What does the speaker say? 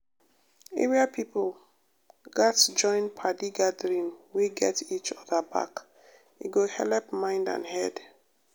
area people gatz join padi gathering wey get each other back e go helep mind and head.